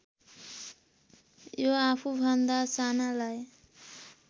यो आफुभन्दा सानालाई